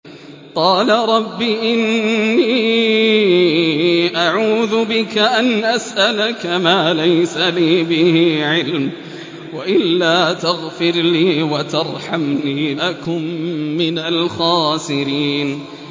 قَالَ رَبِّ إِنِّي أَعُوذُ بِكَ أَنْ أَسْأَلَكَ مَا لَيْسَ لِي بِهِ عِلْمٌ ۖ وَإِلَّا تَغْفِرْ لِي وَتَرْحَمْنِي أَكُن مِّنَ الْخَاسِرِينَ